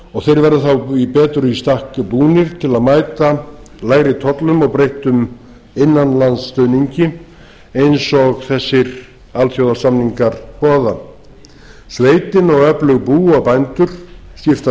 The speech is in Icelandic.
og þeir verða þá betur í stakk búnir til að mæta lægri tollum og breyttum innanlandsstuðningi eins og þessir alþjóðasamningar boða sveitin og öflug bú og bændur skipan